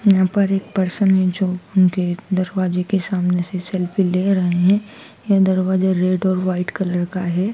यहां पर एक पर्सन है जो उनके दरवाजे के सामने से सेल्फी ले रहे हैं ये दरवाजे रेड और व्हाइट कलर का है।